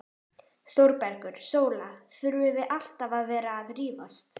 ÞÓRBERGUR: Sóla, þurfum við alltaf að vera að rífast?